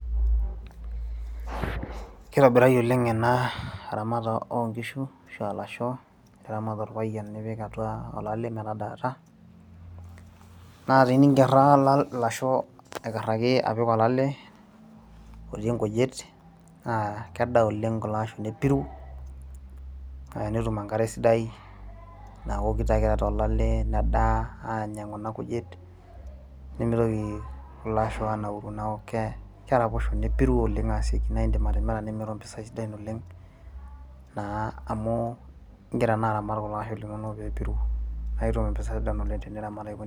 kitobirari oleng ena ramata onkishu ashua ilasho liramat orpayian nipik atua olale metadaata naa teninkerra ilasho aikarraki apik olale otii inkujit naa kedaa oleng kulo asho nepiru naa enetum enkare sidai naokito ake eeta olale nedaa anya kuna kujit nemitoki kulo asho anauru naaku keraposho nepiru oleng aseki naindim atimira nimiru impisai sidan oleng naa amu ingira naa aramat kulo asho linonok peepiru naa itum impisai sidan oleng teniramat aiko.